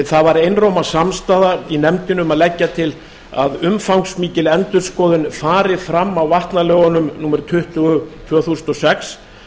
það var einróma samstaða í nefndinni um að leggja til að umfangsmikil endurskoðun fari fram á vatnalögunum númer tuttugu tvö þúsund og sex